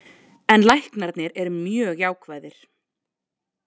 En læknarnir eru mjög jákvæðir.